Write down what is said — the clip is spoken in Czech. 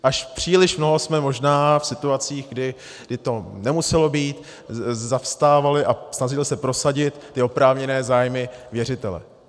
Až příliš mnoho jsme možná v situacích, kdy to nemuselo být, zastávali a snažili se prosadit ty oprávněné zájmy věřitele.